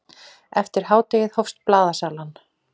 Eftir hádegi hófst blaðasalan.